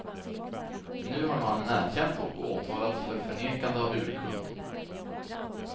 Nu har mannen erkänt och åtalats för förnekande av urkund.